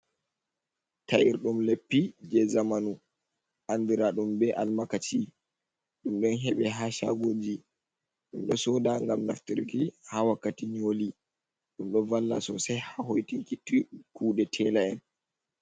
Ta’irɗum leppi jey zamanu anndiraa ɗum be almakaci ɗum ɗon heɓa haa caagooji, ɗum ɗo sooda ngam naftiriki haa wakkati nyooli, ɗum ɗo valla soosai haa hoytinki kuuɗe teela'en.